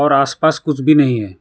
आस पास कुछ भी नहीं है।